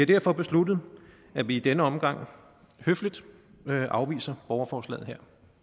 derfor besluttet at vi i denne omgang høfligt afviser borgerforslaget